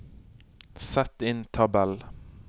Sett inn tabell